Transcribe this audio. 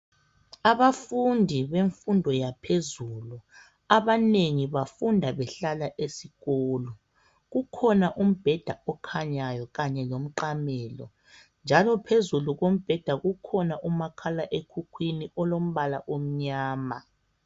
Abafundi bemfundo yaphezulu abanengi bafunda behlala esikolo kukhona umbheda okhanyayo kanye lomqamelo njalo phezulu kombheda kukhona umakhalaekhukhwini olombala omnyama.